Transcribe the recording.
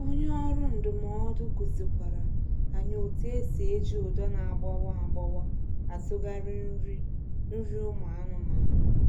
Onye ọrụ ndụmọdụ kuzi kwara anyi otu esi eji ụdọ na agbawa agbawa atụgharị nri nri ụmụ anụmanụ